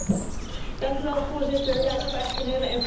Voorzitter, ik heb eigenlijk een heel eenvoudige vraag.